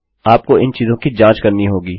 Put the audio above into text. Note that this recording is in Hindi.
आपको इन चीजों की जाँच करनी होगी